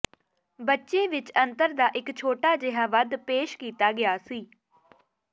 ਬੱਚੇ ਵਿੱਚ ਅੰਤਰ ਦਾ ਇੱਕ ਛੋਟਾ ਜਿਹਾ ਵੱਧ ਪੇਸ਼ ਕੀਤਾ ਗਿਆ ਸੀ